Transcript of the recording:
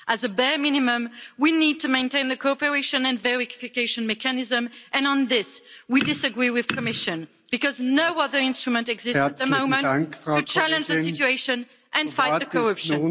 As a bare minimum we need to maintain the cooperation and verification mechanism, and on this we disagree with the Commission because no other instrument exists at the moment to challenge the situation and fight the corruption.